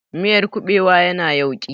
Miyar kuɓewa ya na yauƙi